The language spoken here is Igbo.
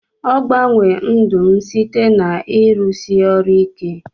Ogbanwe ndụ m site na irusi orụ ike.